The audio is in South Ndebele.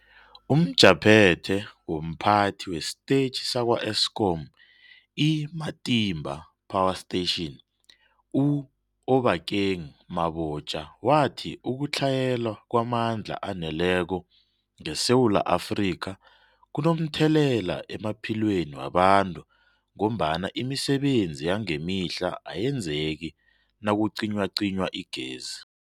UmJaphethe womPhathi wesiTetjhi sakwa-Eskom i-Matimba Power Station u-Obakeng Mabotja wathi ukutlhayela kwamandla aneleko ngeSewula Afrika kunomthelela emaphilweni wabantu ngombana imisebenzi yangemihla ayenzeki nakucinywacinywa igezi.